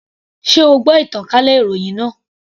Sé o gbọ́ ìtànkálẹ̀ ìròhìn náà.